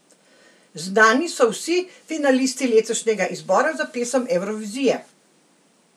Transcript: Znani so vsi finalisti letošnjega izbora za Pesem Evrovizije!